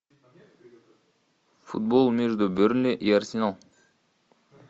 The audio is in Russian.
футбол между бернли и арсенал